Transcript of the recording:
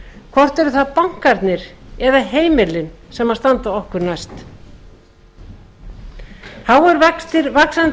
hvort eru það bankarnir eða heimilin sem standa okkur næst háir vextir vaxandi